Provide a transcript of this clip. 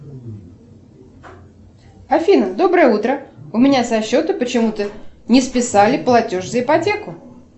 афина доброе утро у меня со счета почему то не списали платеж за ипотеку